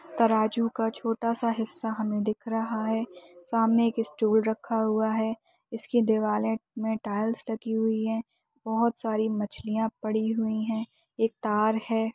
तराजू का छोटा सा हिस्सा हमें दिख रहा है सामने एक स्टूल रखा हुआ है इसकी दीवारें मे टाइल्स लगी हुई हैं बहुत सारी मछलियां पड़ी हुई हैं एक तार है।